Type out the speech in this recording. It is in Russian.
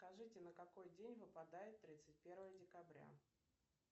скажите на какой день выпадает тридцать первое декабря